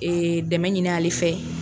Ee dɛmɛ ɲini ale fɛ